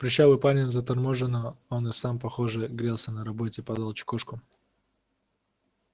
прыщавый парень заторможенно он и сам похоже грелся на работе подал чекушку